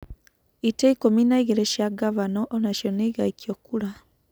ĩtĩ ikumi na ĩgirĩ cia ngabana onacio nĩigaikio kura.